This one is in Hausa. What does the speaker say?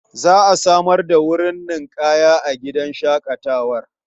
Za a samar da wurin ninƙaya a gidan shaƙatawar.